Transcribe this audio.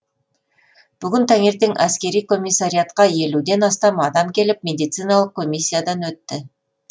бүгін таңертең әскери комиссариатқа елуден астам адам келіп медициналық коммиясиядан өтті